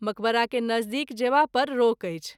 मक़बरा के नज़दीक जेबा पर रोक अछि।